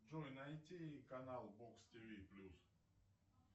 джой найти канал бокс тиви плюс